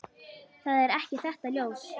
Það er ekki þetta ljós.